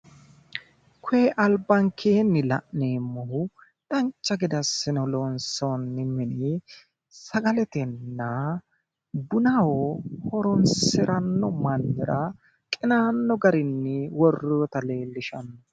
Koye albankeenni la'neemmohu dancha gede assine loonsoonni mini sagaletenna bunaho horoonsiranno mannira qinaanno garinni worroyita leellishanno.